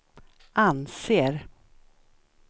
anser